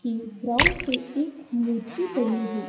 की ग्राउंड पे एक मूर्ति बनी हु--